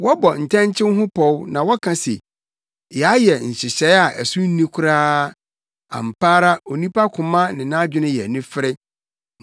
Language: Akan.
Wɔbɔ ntɛnkyew ho pɔw na wɔka se, “Yɛayɛ nhyehyɛe a ɛso nni koraa!” Ampa ara onipa koma ne nʼadwene yɛ anifere.